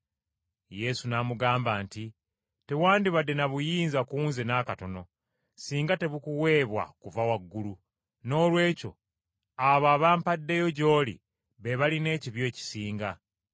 Yesu n’amuddamu nti, “Tewandibadde na buyinza ku Nze n’akatono, singa tebukuweebwa kuva waggulu. Noolwekyo abo abampaddeyo gy’oli be balina ekibi ekisinga.”